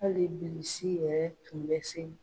Hali Bilisi yɛrɛ tun bɛ se.